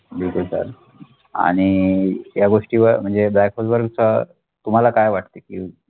आणि या गोष्टी म्हणजे black hole वरच तुम्हाला काय वाटते? की